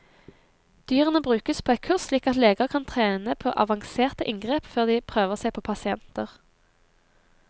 Dyrene brukes på et kurs slik at leger kan trene på avanserte inngrep før de prøver seg på pasienter.